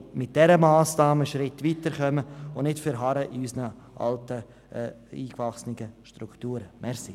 Wir wollen mit dieser Massnahme einen Schritt weiterkommen und nicht in unseren alten, eingewachsenen Strukturen verharren.